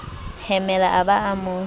hemela a ba a mo